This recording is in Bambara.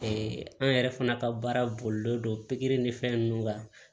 an yɛrɛ fana ka baara bolilen don pikiri ni fɛn ninnu kan